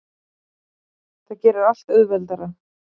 Það gerir allt auðveldara.